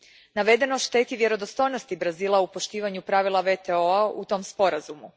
Navedeno šteti vjerodostojnosti Brazila u poštivanju pravila WTO a u tom sporazumu.